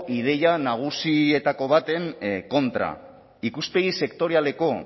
ideia nagusietako baten kontra ikuspegi sektorialeko